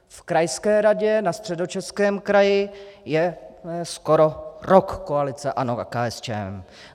V krajské radě na Středočeském kraji je skoro rok koalice ANO a KSČM.